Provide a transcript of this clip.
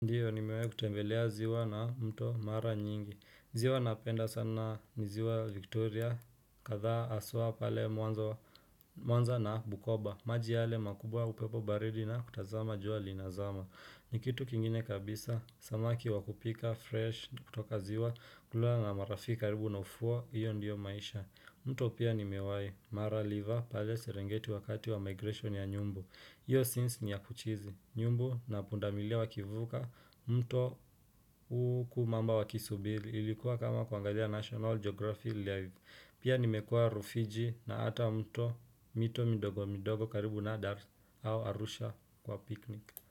Ndiyo nimewahi kutembelea ziwa na mto mara nyingi. Ziwa napenda sana ni ziwa Victoria, kadhaa haswa pale mwanza na Bukoba. Maji yale makubwa upepo baridi na kutazama jua linazama. Ni kitu kingine kabisa, samaki wakupika fresh kutoka ziwa, kula na marafiki karibu na ufuo hiyo ndiyo maisha. Mto pia nimewahi, mara liva pale serengeti wakati wa migration ya nyumbu. Iyo scenes ni ya kuchizi nyumbu na pundamilia wakivuka mto huku mamba wakisubiri ilikuwa kama kuangalia National Geography live. Pia nimekuua rufiji na hata mto mito midogo midogo karibu na dar au arusha kwa piknik.